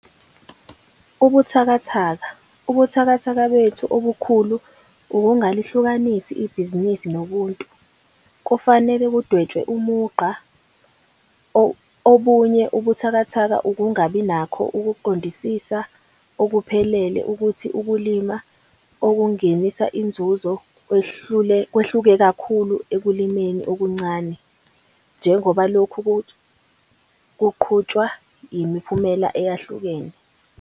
Ubuthakathaka- Ubuthakathaka bethu obukhulu ukungalihlukanisi ibhizinisi noBuntu, kufanele kudwetshwe umugqa. Obunye ubuthakathaka ukungabi nakho ukuqondisisa okuphelele ukuthi ukulima okungenisa inzuzo kwehluke kakhulu ekulimeni okuncane njengoba lokhu kuqhutshwa yimiphumela eyehlukene.